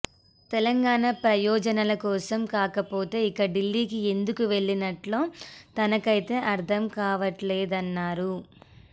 తెలంగాణ ప్రయోజనాల కోసం కాకపోతే ఇక ఢిల్లీకి ఎందుకు వెళ్లినట్లో తనకైతే అర్థం కావట్లేదన్నారు